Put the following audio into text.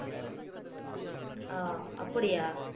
ஆஹ் அப்படியா